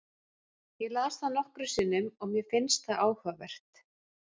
Ég las það nokkrum sinnum og mér fannst það áhugavert.